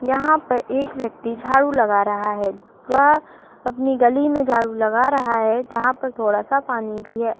यहाँ पर एक व्यक्ति झाड़ू लगा रहा है। वह अपनी गली में झाड़ू लगा रहा हैं जहाँ पर थोड़ा सा पानी भी है।